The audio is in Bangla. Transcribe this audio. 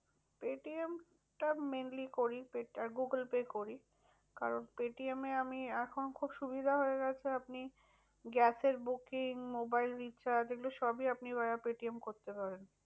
পেটিএমটা mainly করি আর গুগুল পে করি। কারণ পেটিএমে আমি এখন খুব সুবিধা হয়ে গেছে আপনি গ্যাসের booking মোবাইল recharge এইগুলা সবই আপনি পেটিএম করতে পারেন।